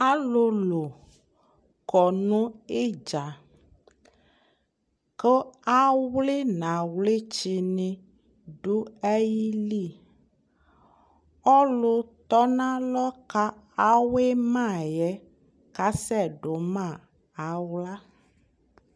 Alulu kɔ nu idza ku awli nu awlitsini du ayili ɔlu tɔnalɔ ku awuima yɛ kasɛ duma aɣla